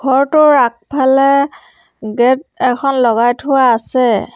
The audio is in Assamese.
ঘৰটোৰ আগফালে গেট এখন লগাই থোৱা আছে।